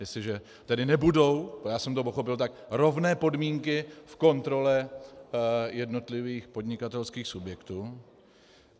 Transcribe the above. Jestliže tedy nebudou - já jsem to pochopil tak - rovné podmínky v kontrole jednotlivých podnikatelských subjektů.